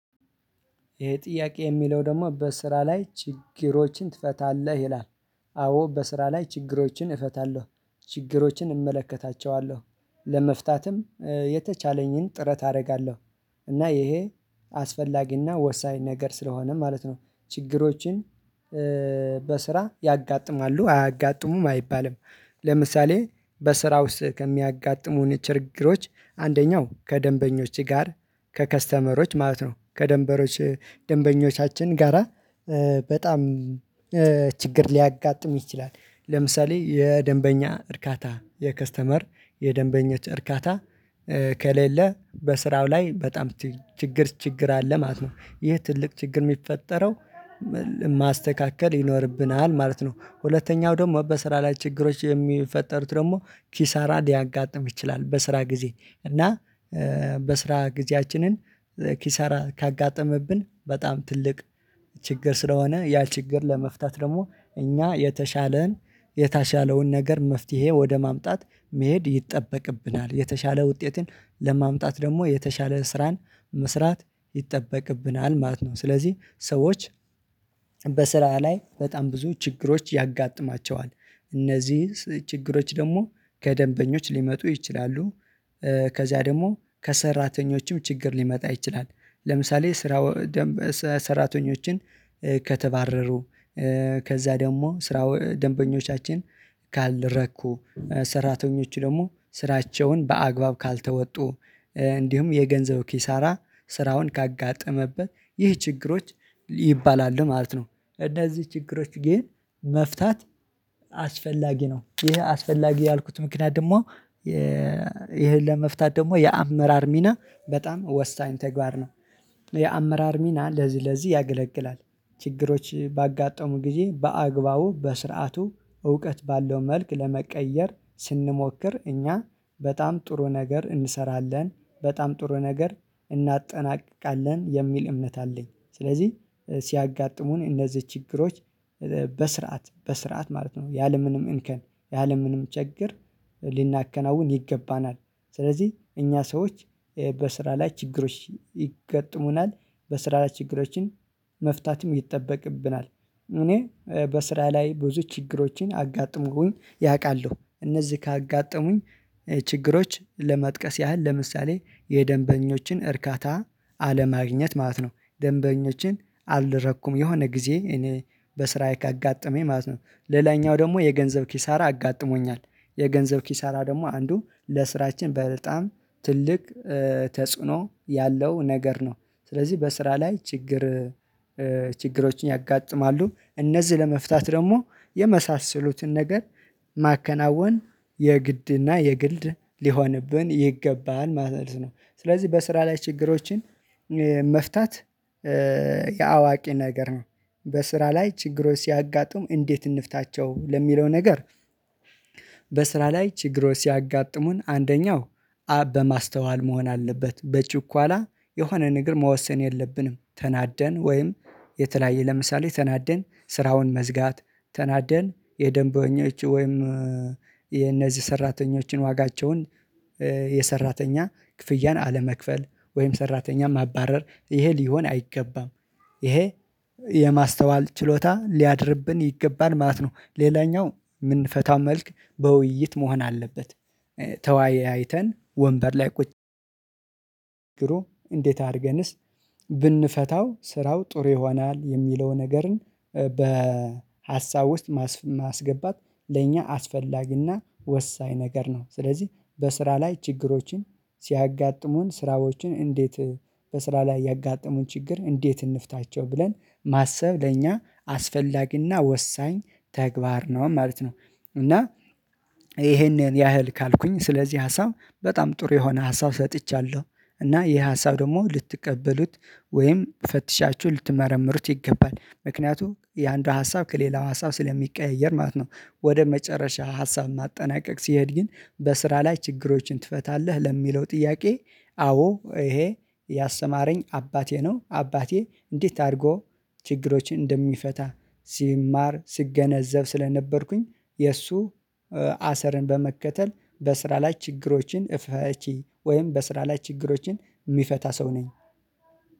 ይሄ ጥያቄ የሚለው ደግሞ በስራ ላይ ችግሮችን ትፈታለህ? ይላል። አዎ በስራ ላይ ችግሮችን እፈታለሁ። ችግሮችን እመለከታቸዋለሁ። ለመፍታትም የተቻለኝን ጥረት አደርጋለሁ። እና ይሄ አስፈላጊና ወሳኝ ነገር ስለሆነ ማለት ነው። ችግሮችን በስራ ያጋጥማሉ አያጋጥሙም አይባልም። ለምሳሌ በስራ ውስጥ ከሚያጋጥሙን ችግሮች አንደኛው ከደንበኞች ጋር፤ ከከስተመሮች ማለት ነው ከደንበሮች ደንበኞቻችን ጋራ፤ በጣም ችግር ሊያጋጥም ይችላል። ለምሳሌ የደንበኛ እርካታ የከስተመር የደንበኞች እርካታ። ከሌለ በስራው ላይ በጣም ችግር ችግር አለ ማለት ነው። ይህ ትልቅ ችግር የሚፈጠረው ማስተካከል ይኖርብናል ማለት ነው። ሁለተኛው ደግሞ በስራ ላይ ችግሮች የሚፈጠሩት ደግሞ ኪሳራ ሊያጋጥም ይችላል። በስራ ጊዜ እና በስራ ጊዜያችንን ኪሳራ ካጋጠመብን በጣም ትልቅ ችግር ስለሆነ፤ ያ ችግር ለመፍታት ደግሞ እኛ የተሻለን የታሻለውን ነገር መፍትሄ ወደ ማምጣት መሄድ ይጠበቅብናል። የተሻለ ውጤትን ለማምጣት ደግሞ የተሻለ ስራን መስራት ይጠበቅብናል ማለት ነው። ስለዚህ ሰዎች በስራ ላይ በጣም ብዙ ችግሮች ያጋጥማቸዋል። እነዚህ ችግሮች ደግሞ ከደንበኞች ሊመጡ ይችላሉ። ከዚያ ደግሞ ከሰራተኞችም ችግር ሊመጣ ይችላል። ለምሳሌ ስራው ሰራተኞችን ከተባረሩ ከዛ ደግሞ ስራ ደንበኞቻችን ካልረኩ። ሰራተኞች ደግሞ ስራቸውን በአግባብ ካልተወጡ፤ እንዲሁም የገንዘብ ኪሳራ ስራውን ካጋጠመበት ይህ ችግሮች ይባላሉ ማለት ነው። እነዚህ ችግሮች ግን መፍታት አስፈላጊ ነው። ይሄ አስፈላጊ ያልኩት ምክንያት ደግሞ ይሄን ለመፍታት ደግሞ የአመራር ሚና በጣም ወሳኝ ተግባር ነው። የአመራር ሚና ለዚህ ለዚህ ያገለግላል። ችግሮች ባጋጠሙ ጊዜ በአግባቡ በስርዓቱ እውቀት ባለው መልክ ለመቀየር ስንሞክር እኛ በጣም ጥሩ ነገር እንሰራለን፤ በጣም ጥሩ ነገር እናጠናቅቃለን፤ የሚል እምነት አለኝ። ስለዚህ ሲያጋጥሙን እነዚህ ችግሮች በስርዓት፣ በስርዓት ማለት ነው። ያለምንም እንከን፣ ያለምንም ችግር ሊናከናውን ይገባናል። ስለዚህ እኛ ሰዎች በስራ ላይ ችግሮች ይገጥሙናል በስራ ላይ ችግሮችን መፍታትም ይጠበቅብናል እኔ በስራ ላይ ብዙ ችግሮችን አጋጥሙኝ ያውቃሉ። እነዚህ ካጋጠሙኝ ችግሮች ለማጥቀስ ያህል ለምሳሌ የደንበኞችን እርካታ አለማግኘት ማለት ነው። ደንበኞችን አልረኩም የሆነ ጊዜ እኔ በስራዬ ካጋጠመኝ ማለት ነው። ሌላኛው ደግሞ የገንዘብ ኪሳራ አጋጥሞኛል። የገንዘብ ኪሳራ ደግሞ አንዱ ለስራችን በጣም ትልቅ ተጽዕኖ ያለው ነገር ነው። ስለዚህ በስራ ላይ ችግር ችግሮችን ያጋጥማሉ። እነዚህ ለመፍታት ደግሞ የመሳሰሉትን ነገር ማከናወን የግድና የግልድ ሊሆንብን ይገባል ማለት ነው። ስለዚህ በስራ ላይ ችግሮችን መፍታት የአዋቂ ነገር ነው። በስራ ላይ ችግሮች ሲያጋጥሙ እንዴት እንፍታቸው ለሚለው ነገር በስራ ላይ ችግሮች ሲያጋጥሙን አንደኛው አብ በማስተዋል መሆን አለበት። በችኳላ የሆነ ነገር መወሰን የለብንም። ተናደን ወይም የተለያየ ለምሳሌ ተናደን ስራውን መዝጋት፣ ተናደን የደንበኞች ወይም የእነዚህ ሰራተኞችን ዋጋቸውን የሰራተኛ ክፍያን አለመክፈል፤ ወይም ሰራተኛ ማባረር ይሄ ሊሆን አይገባም። ይሄ የማስተዋል ችሎታ ሊያድርብን ይገባን ማለት ነው። ሌላኛው የምንፈታው መልክ በውይይት መሆን አለበት ተወያይተን ወንበር ላይ ቁጭ እንዴት? አድርገንስ ብንፈታው ስራው ጥሩ ይሆናል የሚለውን ነገርን በሀሳብ ውስጥ ማስገባት ለእኛ አስፈላጊና ወሳኝ ነገር ነው። ስለዚህ በስራ ላይ ችግሮችን ሲያጋጥሙን ስራዎችን እንዴት በስራ ላይ ያጋጠሙን ችግር እንዴት እንፍታቸው ብለን ማሰብ ለእኛ አስፈላጊና ወሳኝ ተግባር ነው ማለት ነው እና ይሄንን ያህል ካልኩኝ፤ ስለዚህ ሀሳብ በጣም ጥሩ የሆነ ሀሳብ ሰጥቻለሁ። እና ይሄ ሀሳብ ደግሞ ልትቀበሉት ወይም ፈትሻችሁ ልትመረምሩት ይገባል። ምክንያቱም የአንዷ ሀሳብ ከሌላው ሀሳብ ስለሚቀያየር ማለት ነው። ወደ መጨረሻ ሀሳብ ማጠናቀቅ ሲሄድ ግን በስራ ላይ ችግሮችን ትፈታለህ? ለሚለው ጥያቄ አዎ ይሄ ያሰማረኝ አባቴ ነው። አባቴ እንዴት አድርጎ ችግሮችን እንደሚፈታ ሲማር፣ ሲገነዘብ ስለነበርኩኝ የእሱ አሰርን በመከተል በስራ ላይ ችግሮችን እፈቺ ወይም በስራ ላይ ችግሮችን የሚፈታ ሰው ነኝ።